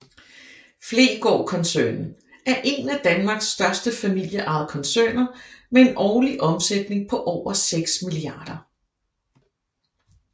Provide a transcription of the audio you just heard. Fleggaard koncernen er en af Danmarks største familieejede koncerner med en årlig omsætning på over 6 mia